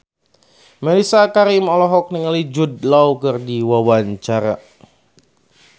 Mellisa Karim olohok ningali Jude Law keur diwawancara